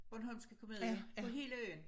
Bornholmske komedier på hele øen